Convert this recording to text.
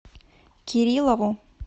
кириллову